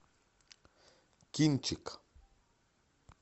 кинчик